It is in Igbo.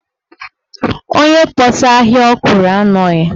Onye kpọsaa ahịa ọkwụrụ a anọghị.